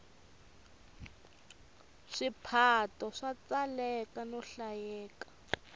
swiphato swa tsaleka no hlayeka